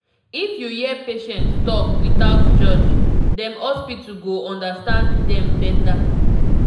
if you hear patient talk without judge dem hospital go understand dem better